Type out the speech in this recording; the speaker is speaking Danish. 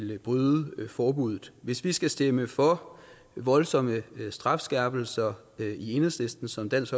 vil bryde forbuddet hvis vi skal stemme for voldsomme strafskærpelser i enhedslisten som dansk